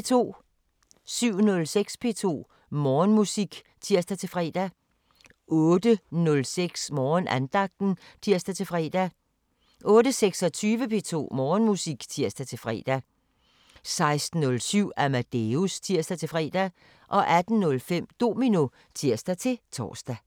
07:06: P2 Morgenmusik (tir-fre) 08:06: Morgenandagten (tir-fre) 08:26: P2 Morgenmusik (tir-fre) 16:07: Amadeus (tir-fre) 18:05: Domino (tir-tor)